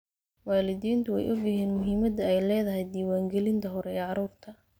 Waalidiintu way ogyihiin muhiimadda ay leedahay diiwaangelinta hore ee carruurta.